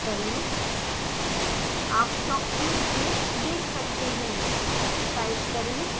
ls type करें आप shocktube case देख सकते हैं